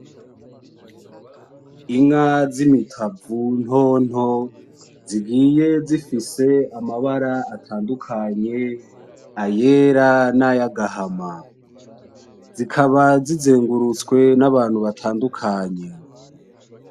Inka z'imitavu nto nto zigiye zifise amabara atandukanye ayera n'ayagahama. zikaba zizengurutswe n'Abantu batandukanye.